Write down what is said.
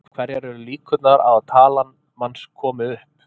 Hverjar eru líkurnar á að talan manns komi upp?